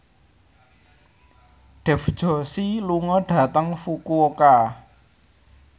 Dev Joshi lunga dhateng Fukuoka